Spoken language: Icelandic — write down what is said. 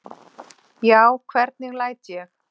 Já, hvernig læt ég?